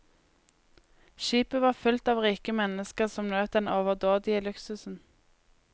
Skipet var fylt av rike mennesker som nøt den overdådige luksusen.